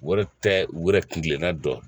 Wari tɛ wɛrɛ kun gilanna dɔn